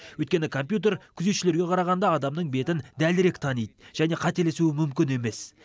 өйткені компьютер күзетшілерге қарағанда адамның бетін дәлірек таниды және қателесуі мүмкін емес